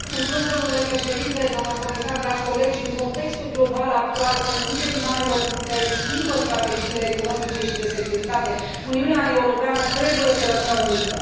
Domnule președinte, doamnă comisar, dragi colegi, în contextul global actual, când liderii marilor puteri schimbă strategiile economice și de securitate, Uniunea Europeană trebuie să rămână unită.